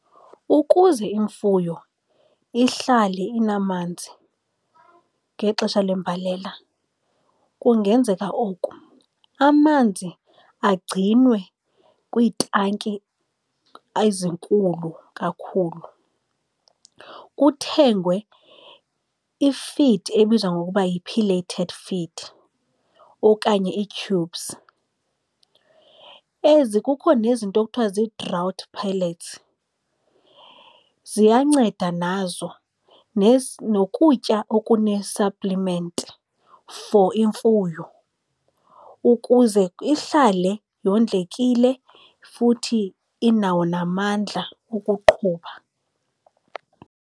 Ukuze imfuyo ihlale inamanzi ngexesha lembalela kungenzeka oku, amanzi agcinwe kwiitanki ezinkulu kakhulu, kuthengwe i-feed ebizwa ngokuba yi-pelleted feed okanye ii-tubes. Ezi kukho, nezinto ekuthiwa zii-drought pellets, ziyanceda nazo nokutya okune-supplement for imfuyo ukuze ihlale yondlekile futhi inawo namandla ukuqhuba,